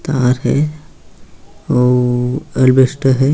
तार है और अलबेस्टर है।